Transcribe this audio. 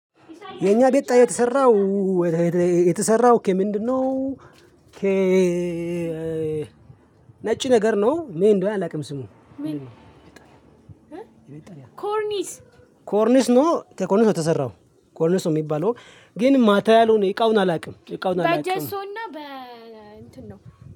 የኛ ቤት የተሰራው የተሰራው ከምንድነው? ነጭ ነገር ነው። ምን እንደሆነ አላውቅም። ስሙ ምን? ኮርኒስ ኮርኒስ ነው ከኮርኒስ ነው የተሰራው ኮርኒስ ነው የሚባለው። ግን ማቴሪያሉን እቃውን አላውቅም እቃውን አላውቅም። በጀሶና በ እንትን ነው